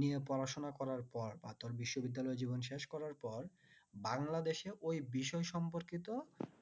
নিয়ে পড়াশোনা করার পর বা তোর বিশ্ব বিদ্যালয়ে জীবন শেষ করার পর বাংলাদেশেও ওই বিষয় সম্পর্কিত